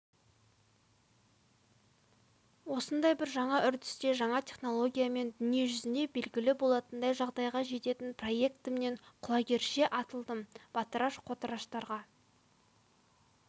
осындай бір жаңа үрдісте жаңа технологиямен дүниежүзіне белгілі болатындай жағдайға жететін проектімнен құлагерше атылдым батыраш-қотыраштарға